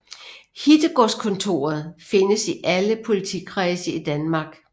Hittegodskontorer findes i alle politikredse i Danmark